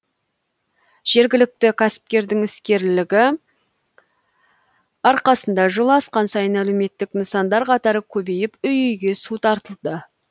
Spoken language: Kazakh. жергілікті кәсіпкердің іскерлігі арқасында жыл асқан сайын әлеуметтік нысандар қатары көбейіп үй үйге су тартылды